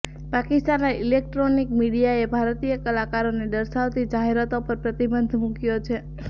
પાકિસ્તાનના ઇલેક્ટ્રોનિક મીડિયાએ ભારતીય કલાકારોને દર્શાવતી જાહેરાતો પર પ્રતિબંધ મૂક્યો છે